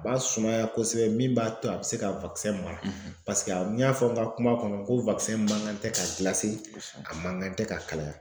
A b'a sumaya kosɛbɛ min b'a to a bɛ se ka mara a n y'a fɔ n ka kuma kɔnɔ ko mankan tɛ ka , a man kan tɛ ka kalaya.